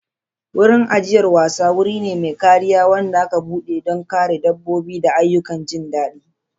Wurin ajiyar wasa wuri ne mai kariya wanda aka keɓe don kare dabbobi da ayyukan jin daɗi.